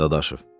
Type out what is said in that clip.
Dadaşov.